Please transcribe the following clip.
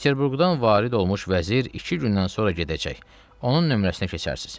Peterburqdan varid olmuş vəzir iki gündən sonra gedəcək, onun nömrəsinə keçərsiz.